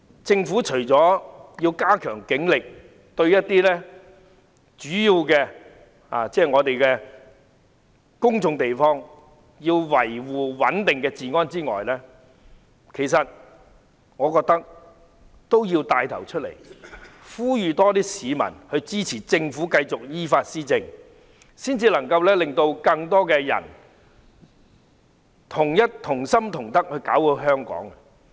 政府除了要加強警力維持主要公眾地方的治安穩定外，我認為政府也要牽頭呼籲更多市民支持它繼續依法施政，這樣才能夠令更多人同心同德，搞好香港。